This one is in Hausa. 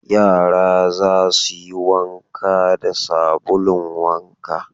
Yara za su yi wanka da sabulun wanka.